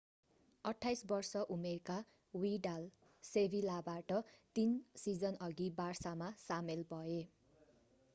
28-वर्ष-उमेरका Vidal सेभिलाबाट तीन सिजनअघि बार्सामा सामेल भए।